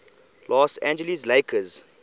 los angeles lakers